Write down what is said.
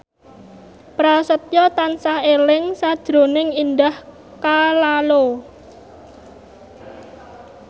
Prasetyo tansah eling sakjroning Indah Kalalo